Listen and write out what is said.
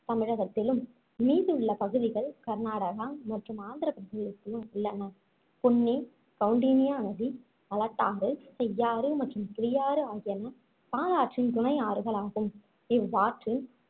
தமிழகத்திலும் மீதி உள்ள பகுதிகள் கர்நாடகா மற்றும் ஆந்திரப் பிரதேசத்திலும் உள்ளன பொன்னி கவுண்டினியா நதி மலட்டாறு செய்யாறு மற்றும் கிளியாறு ஆகியன பாலாற்றின் துணை ஆறுகளாகும். இவ்வாற்றின்